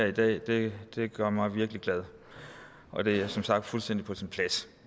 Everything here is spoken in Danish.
i dag det gør mig virkelig glad og det er som sagt fuldstændig på sin plads